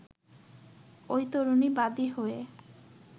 ওই তরুণী বাদি হয়ে